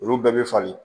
Olu bɛɛ bɛ falen